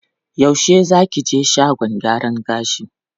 Yaushe za ki je shagon gyaran gashin?